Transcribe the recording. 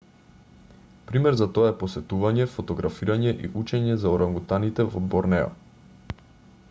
пример за тоа е посетување фотографирање и учење за орангутаните во борнео